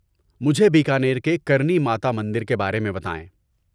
مجھے بیکانیر کے کرنی ماتا مندر کے بارے میں بتائیں۔